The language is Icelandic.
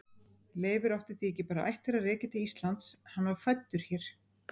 Leifur átti því ekki bara ættir að rekja til Íslands, hann var fæddur hér.